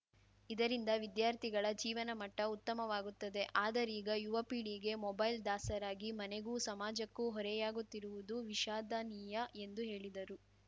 ಇದರಿಂದ ವಿದ್ಯಾರ್ಥಿಗಳ ಜೀವನ ಮಟ್ಟಉತ್ತಮವಾಗುತ್ತದೆ ಆದರೀಗ ಯುವಪೀಳಿಗೆ ಮೊಬೈಲ್‌ ದಾಸರಾಗಿ ಮನೆಗೂ ಸಮಾಜಕ್ಕೂ ಹೊರೆಯಾಗುತ್ತಿರುವುದು ವಿಷಾದನೀಯ ಎಂದು ಹೇಳಿದರು